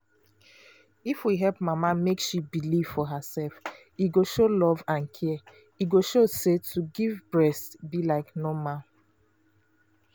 if we help mama make she believe for herself e show love and care e go show say to give breast be like normal.